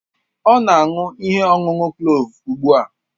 Ọ na-aṅụ ihe ọṅụṅụ kloovu ugbu a